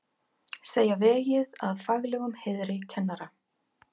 Segja vegið að faglegum heiðri kennara